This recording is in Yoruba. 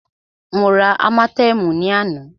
Mó rá ámátẹ̀ẹ̀mú ní àná.